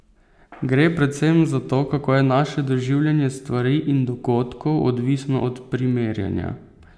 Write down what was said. Gre predvsem za to, kako je naše doživljanje stvari in dogodkov odvisno od primerjanja.